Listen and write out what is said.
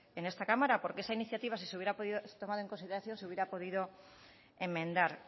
en esta cámara porque esa iniciativa si se hubiera tomado en consideración se hubiera podido enmendar